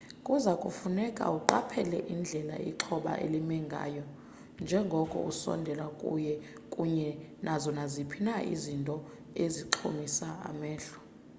kuza kufuneka uqaphele indlela ixhoba elime ngayo njengoko usondela kuye kunye nazo naziphi na izinto ezixhomisa amehlo